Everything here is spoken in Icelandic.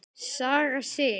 Saga Sig.